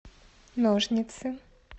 ножницы